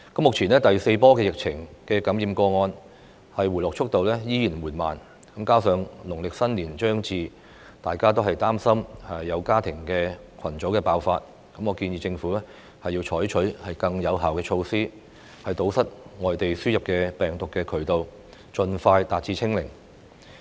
目前第四波疫情感染個案的回落速度仍然緩慢，加上農曆新年將至，大家均擔心社會出現家庭群組爆發，我建議政府採取更有效措施，堵截病毒從境外輸入，盡快達至"清零"。